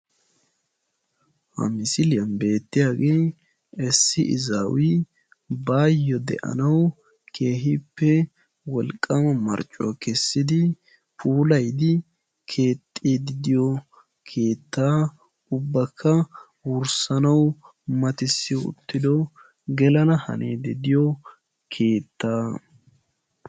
Ha misiliyan beettiyage issi izawi baayo de'anawu keehippe wolqqama marccuwaa kessidi puulayidi keexxidi diyo keettaa ubbaka wurssanawu mattisiyo uttidogelana hanidi de'iyo keettaa.